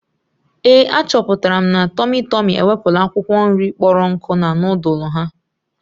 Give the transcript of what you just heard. Ee, achọpụtara m na tụmị tụmị ewepụla akwụkwọ nri kpọrọ nku na nudulu ha.